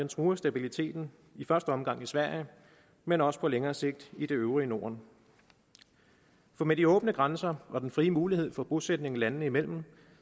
truer stabiliteten i første omgang i sverige men også på længere sigt i det øvrige norden for med de åbne grænser og den frie mulighed for bosætning landene imellem